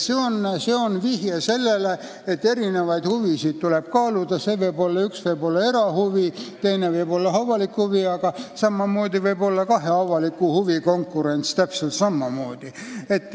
See on vihje sellele, et huvisid tuleb kaaluda: üks võib olla erahuvi, teine võib olla avalik huvi, aga täpselt samamoodi võib olla tegu kahe avaliku huvi konkurentsiga.